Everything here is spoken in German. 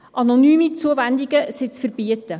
Anonyme Zuwendungen sind zu verbieten.